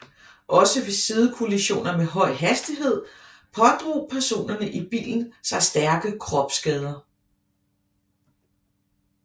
Også ved sidekollisioner med høj hastighed pådrog personerne i bilen sig stærke kropsskader